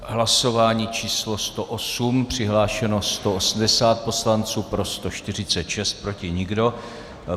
Hlasování číslo 108, přihlášeno 180 poslanců, pro 146, proti nikdo.